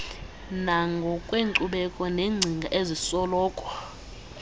nangokwenkcubeko neengcinga ezisoloko